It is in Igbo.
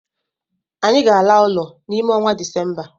Anyị ga ala ụlọ n'ime onwa December.